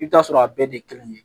I bɛ t'a sɔrɔ a bɛɛ de kelen